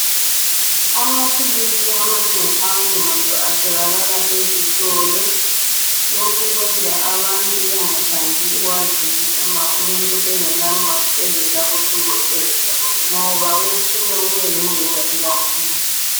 Amaphilisi amanengi awenqondo atholakala ezitolo lokhu kwenza abantu bengathandi ukuwathengisela umuntu engela ncwadi evela kudokotela ngoba kusuka kube yingozi kakhulu